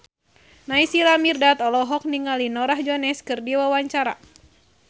Naysila Mirdad olohok ningali Norah Jones keur diwawancara